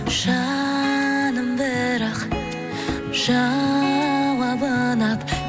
жаным бірақ жауабыма